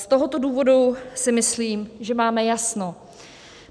Z tohoto důvodu si myslím, že máme jasno.